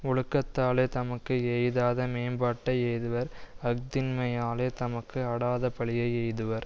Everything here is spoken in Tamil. ஒழுக்கத்தாலே தமக்கு எய்தாத மேம்பாட்டை எய்துவர் அஃதின்மையாலே தமக்கு அடாதபழியை எய்துவர்